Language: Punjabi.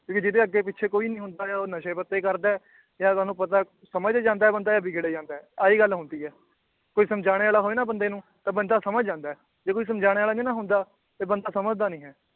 ਵੀ ਜਿਦੇ ਅੱਗੇ ਪਿਛੇ ਕੋਈ ਨੀ ਹੁੰਦਾ ਆ ਉਹ ਨਸ਼ੇ ਪੱਤੇ ਕਰਦਾ ਏ ਯਾਂ ਤੁਹਾਨੂੰ ਪਤਾ ਏ ਸਮਝ ਜਾਂਦਾ ਏ ਬੰਦਾ ਆ ਬਿਗੜ ਜਾਂਦਾ ਏ ਆਹੀ ਗੱਲ ਹੁੰਦੀ ਏ ਕੋਈ ਸਮਝਾਨੇ ਵਾਲਾ ਹੋਏ ਨਾ ਬੰਦੇ ਨੂੰ ਤਾਂ ਬੰਦਾ ਸਮਝ ਜਾਂਦਾ ਏ ਜੇ ਕੋਈ ਸਮਝਾਨੇ ਵਾਲਾ ਨੀ ਨਾ ਹੁੰਦਾ ਫਿਰ ਬੰਦਾ ਸਮਝਦਾ ਨੀ ਹੈ